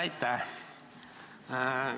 Aitäh!